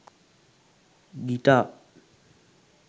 guitar